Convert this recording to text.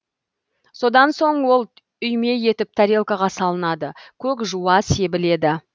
содан соң ол үйме етіп тарелкаға салынады көк жуа себіледі